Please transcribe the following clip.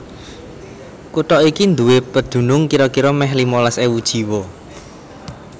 Kutha iki nduwé pedunung kira kira mèh limolas ewu jiwa